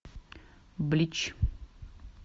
блич